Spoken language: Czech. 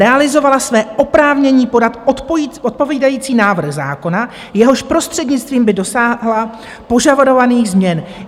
- realizovala své oprávnění podat odpovídající návrh zákona, jehož prostřednictvím by dosáhla požadovaných změn.